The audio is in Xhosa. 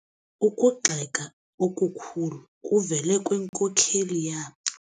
Ukugxeka okukhulu kuvele kwinkokeli yabo.